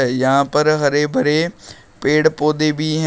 यहां पर हरे भरे पेड़ पौधे भी हैं।